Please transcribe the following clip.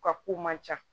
U ka ko man ca